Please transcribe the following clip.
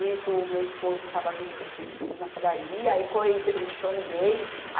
Nisso o meu esposo estava vendo que ele tinha descido na padaria, aí com entre, entrou no meio.